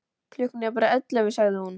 Klukkan er bara ellefu, sagði hún.